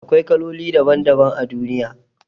Akwai kaloli daban daban a duniya